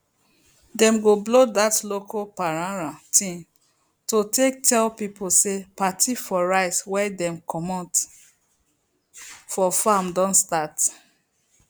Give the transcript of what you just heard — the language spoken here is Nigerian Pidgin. dem go blow dat local paranran thing to take tell pipo say party for rice wey dem comot for farm don start